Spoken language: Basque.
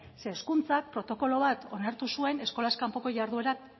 ze hezkuntzak protokolo bat onartu zuen eskolaz kanpoko jarduerak